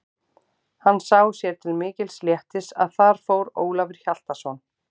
Hann sá sér til mikils léttis að þar fór Ólafur Hjaltason.